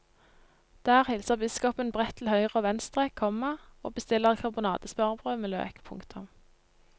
Der hilser biskopen bredt til høyre og venstre, komma og bestiller karbonadesmørbrød med løk. punktum